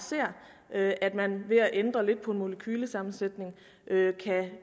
at at man ved at ændre lidt på en molekylesammensætning